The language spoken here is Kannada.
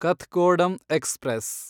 ಕಥ್ಗೋಡಂ ಎಕ್ಸ್‌ಪ್ರೆಸ್